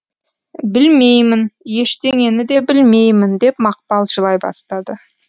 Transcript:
білмеймін ештеңені де білмеймін деп мақпал жылай бастады